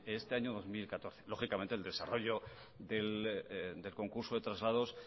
en este año dos mil catorce lógicamente el desarrollo del concurso de traslados